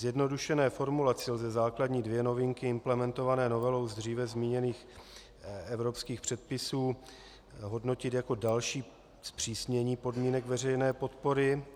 Zjednodušené formulaci lze základní dvě novinky implementované novelou z dříve zmíněných evropských předpisů hodnotit jako další zpřísnění podmínek veřejné podpory.